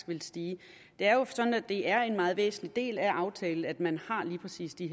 vil stige det er jo sådan at det er en meget væsentlig del af aftalen at man har lige præcis de